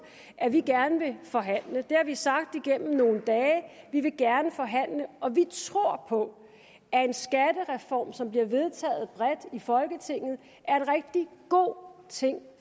at vi gerne vil forhandle det har vi sagt igennem nogle dage vi vil gerne forhandle og vi tror på at en skattereform som bliver vedtaget bredt i folketinget er en rigtig god ting